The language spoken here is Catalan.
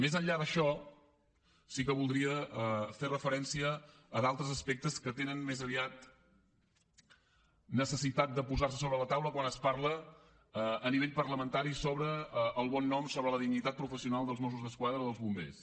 més enllà d’això sí que voldria fer referència a d’altres aspectes que tenen més aviat necessitat de posar se sobre la taula quan es parla a nivell parlamentari sobre el bon nom sobre la dignitat professional dels mossos d’esquadra o dels bombers